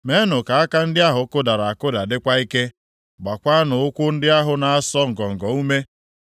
Meenụ ka aka ndị ahụ kụdara akụda dịkwa ike, gbaakwanụ ụkwụ ndị ahụ na-asọ ngọngọ ume.